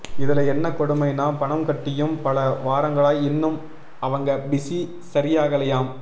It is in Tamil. இதுல என்ன கொடுமைனா பணம் கட்டியும் பல வாரங்களாய் இன்னும் அவங்க பிஸி சரியாகலையாம்